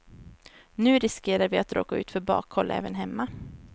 Nu riskerar vi att råka ut för bakhåll även hemma.